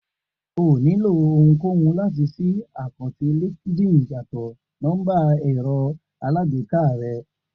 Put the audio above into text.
O ò nílò ohunkóhun láti ṣí àkáǹtì LinkedIn yàtọ̀ nọ́mbà ẹ̀rọ alágbèéká rẹ